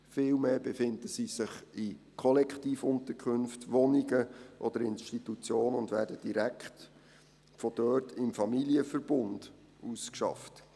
Vielmehr befinden sie sich in Kollektivunterkünften, Wohnungen oder Institutionen und werden direkt von dort im Familienverbund ausgeschafft.